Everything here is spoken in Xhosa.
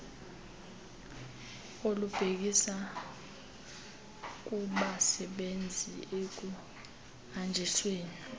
olubhekisa kubasebenzisi ekuhanjisweni